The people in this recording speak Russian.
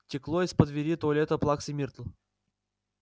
текло из-под двери туалета плаксы миртл